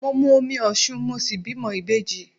Mo mu omi Osun mo sì bímọ ìbejì.